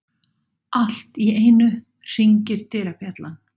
Allt í einu hringir dyrabjallan.